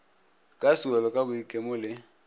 ka sewelo ka boikemo le